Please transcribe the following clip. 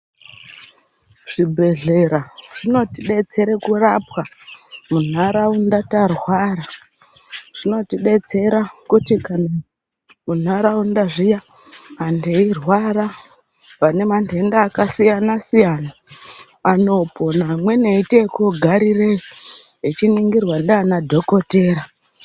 Zvibhedhlera zvinotidetsera kurapwa munharaunda tarwara zvinotidetsera kuti kana mundaraunda zviya antu eirwara vane mandenda akasiyana siyana anopona amweni eiite ekugarireyo echiningirwa ndiana dhokodheya.